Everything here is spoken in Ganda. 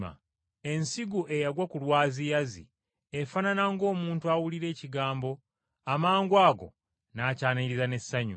Ensigo eyagwa ku byaziyazi efaanana ng’omuntu awulira ekigambo, amangwago n’akyaniriza n’essanyu,